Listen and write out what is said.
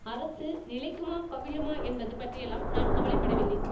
அரசு நிலைக்குமா கவிழுமா என்பது பற்றியெல்லாம் நான் கவலை படவில்லை